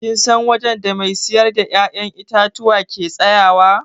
Kin san wajen da mai siyar da ya'yan itatuwa ke tsayawa?